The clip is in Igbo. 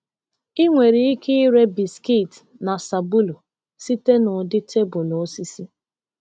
Ị nwere ike ire biskit na sabulu site n’ụdị tebụl osisi.